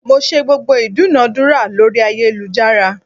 Mo ṣe gbogbo ìdúnadúrà lórí ayélujára.